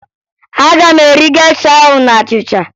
Aga m eri gesha ahụ na achịcha